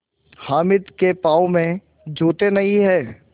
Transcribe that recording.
हामिद के पाँव में जूते नहीं हैं